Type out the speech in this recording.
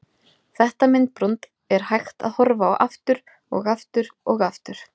Þetta myndbrot er hægt að horfa á aftur og aftur og aftur.